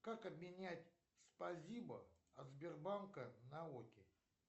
как обменять спасибо от сбербанка на оки